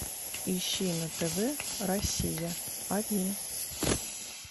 ищи на тв россия один